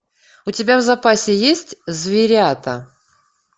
у тебя в запасе есть зверята